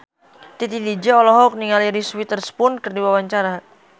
Titi DJ olohok ningali Reese Witherspoon keur diwawancara